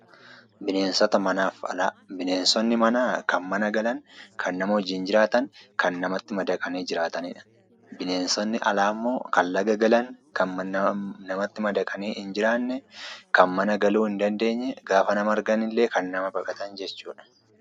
Bineensota manaaf alaa, bineensonni manaa kan mana galan, kan nama wajjin jiraatan, kan namatti madaqanii jiraatanidha. Bineensonni alaammoo kan laga galan, kan namatti madaqanii hin jiraanne, kan mana galuu hin dandeenye, gaafa nama argan illee kan nama baqatan jechuudha.